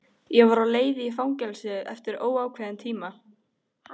Ég var á leið í fangelsi eftir óákveðinn tíma.